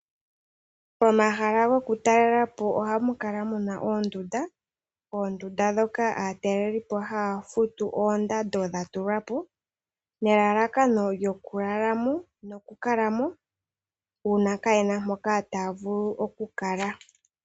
Momahala goku talelapo oha mukala mu na oondunda , ndhoka aatalelipo haya futu oondando ndhi dha tulwapo , nelalakano olyo ku kala mo uuna kaaye na mpo taya vulu oku kala.